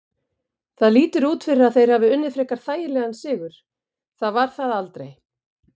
Það lítur út fyrir að þeir hafi unnið frekar þægilegan sigur, það var það aldrei.